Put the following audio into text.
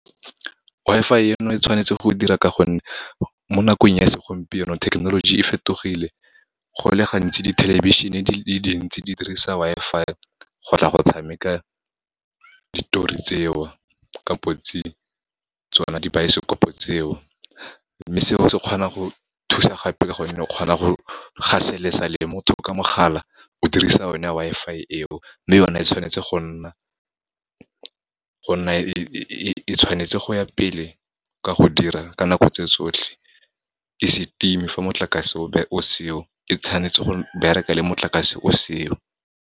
Wi-Fi eno e tshwanetse go dira, ka gonne mo nakong ya segompieno technology e fetogile, go le gantsi di thelebišhene di le dintsi di dirisa Wi-Fi go tla go tshameka ditori tseo, kampotsi tsona dibaesekopo tseo. Mme seo se kgona go thusa gape ka gonne, o kgona go gaselesa le motho ka mogala o dirisa o ne Wi-Fi eo. Mme yone e tshwanetse go nna e tshwanetse go ya pele ka go dira ka nako tse tsotlhe, e se timi fa motlakase o seo, e tshwanetse go bereka le motlakase o seo.